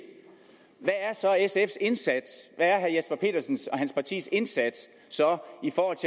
hvad er så sfs indsats er herre jesper petersens og hans partis indsats